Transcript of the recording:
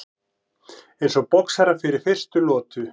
Eins og boxarar fyrir fyrstu lotu.